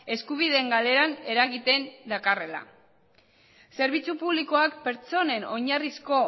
eskubideen galeran eragiten dakarrela zerbitzu publikoak pertsonen oinarrizko